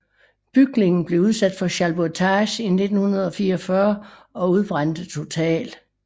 Bygningen blev udsat for schalburgtage i 1944 og udbrændte totalt